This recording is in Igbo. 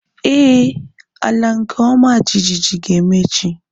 Éè, ala nke ọma jijiji ga-eme echi